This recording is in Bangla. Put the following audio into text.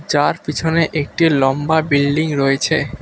যার পিছনে একটি লম্বা বিল্ডিং রয়েছে।